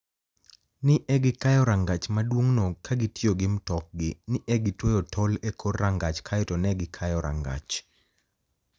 ni e gikayo ranigach maduonig'no ka gitiyo gi mtokgi... ni e gitweyo tol e kor ranigach kae to ni e gikayo ranigach.